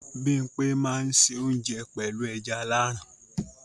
Bimpe máa n se ounje pẹlu ẹja Aláran.